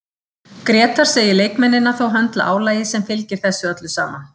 Grétar segir leikmennina þó höndla álagið sem fylgir þessu öllu saman.